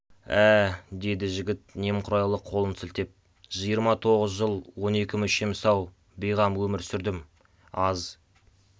ә деді жігіт немқұрайлы қолын сілтеп жиырма тоғыз жыл он екі мүшем сау бейғам өмір сүрдім аз